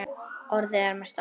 Orðin eru með stæla.